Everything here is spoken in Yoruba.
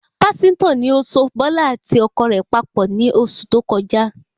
Pásítọ̀ ni ó so bọ́lá àti ọkọ rẹ̀ papọ̀ ni oṣù tó kọjá